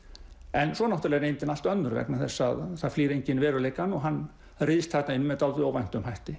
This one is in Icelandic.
en svo náttúrulega er reyndin allt önnur vegna þess að það flýr enginn veruleikann og hann ryðst þarna inn með dálítið óvæntum hætti